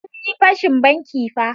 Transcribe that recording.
Sun yi fashin banki fa.